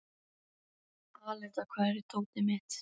Aletta, hvar er dótið mitt?